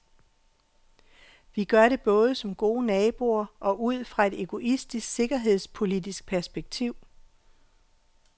Vi gør det både som gode naboer og ud fra et egoistisk sikkerhedspolitisk perspektiv.